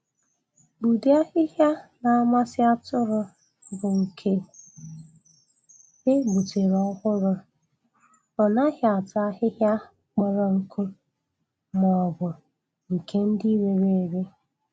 Ụdị ahịhịa na-amasị atụrụ bụ nke e gbutere ọhụrụ. O naghị ata ahịhịa kpọrọ nkụ maọbụ nke dị rere ere